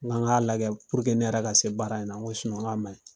N Kan k'a lajɛ puruke ne yɛrɛ ka se baara in na n ko sinɔn k'a maɲi